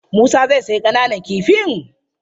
Musa zai sayi ƙananan kifin?